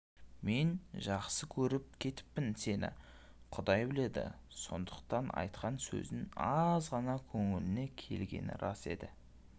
мен жақсы көріп кетіппін сені құдай біледі сондықтан айтқан сөзің азғана көңіліме келгені рас еді